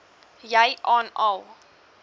jy aan al